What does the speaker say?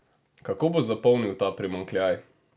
Kako bo zapolnil ta primanjkljaj?